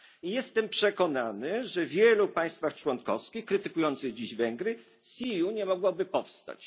I jestem przekonany, że w wielu państwach członkowskich krytykujących dziś Węgry CEU nie mogłaby powstać.